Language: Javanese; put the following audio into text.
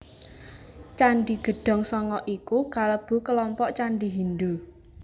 Candhi Gedhong Sanga iku kalebu kelompok candhi Hindhu